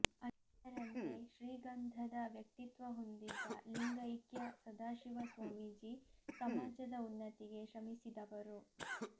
ಅದರಂತೆ ಶ್ರೀಗಂಧದ ವ್ಯಕ್ತಿತ್ವ ಹೊಂದಿದ್ದ ಲಿಂಗೈಕ್ಯ ಸದಾಶಿವ ಸ್ವಾಮೀಜಿ ಸಮಾಜದ ಉನ್ನತಿಗೆ ಶ್ರಮಿಸಿದವರು